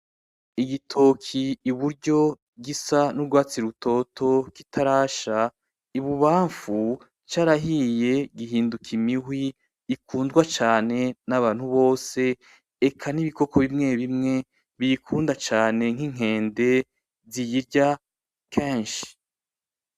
Igitoki iburyo gisa n'urwatsi rutoto kitarasha, i bubamfu carahiye gihinduka imihwi ikundwa cane n'abantu bose. Eka n'ibikoko bimwe bimwe biyikunda cane nk'inkende ziyirya kenshi.